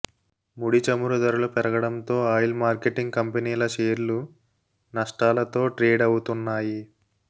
ముడి చమురు ధరలు పెరగడంతో ఆయిల్ మార్కెటింగ్ కంపెనీల షేర్లు నష్టాలతో ట్రేడవుతున్నాయి